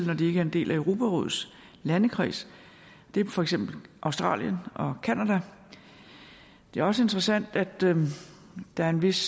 når de ikke er en del af europarådets landekreds det er for eksempel australien og canada det er også interessant at der er en vis